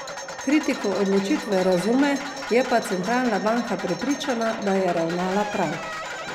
Kritiko odločitve razume, je pa centralna banka prepričana, da je ravnala prav.